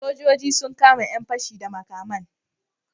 Sojoji sun kashe yan pashe da makaman